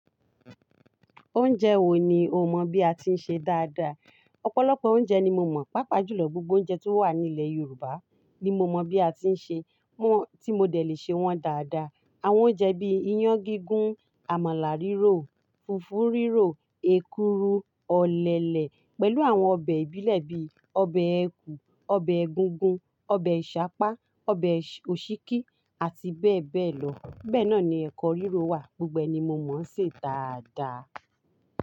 Oúnjẹ wo ni o mọ̀ bí a ti ń ṣe dáadáa? Ọ̀pọ̀lọpọ̀ oúnjẹ ni mo mọ̀, pàápàá jùlọ gbogbo oúnjẹ tí ó wà ní ilẹ̀ Yorùbá ni mo mọ bí a ti ń ṣe wọ́n, tí mo dẹ̀ lè ṣe wọ́n dáadáa. Àwọn oúnjẹ bí i iyán gígún, àmàlà rírò, fùfú rírò, èkuru, ọ̀lẹ̀lẹ̀ pẹ̀lú àwọn ọbẹ̀ ìbílẹ̀ bí i ọbẹ̀ ẹ̀kù, ọbẹ̀ egungun, ọbẹ̀ Ìṣapá, ọbẹ̀ òsíkí àti bẹ́ẹ̀ bẹ́ẹ̀ lọ. Bẹ́ẹ̀ náà ni ẹ̀kọ́ rírò wà, gbogbo ẹni mo mọ̀ ń ṣe é dáadáa.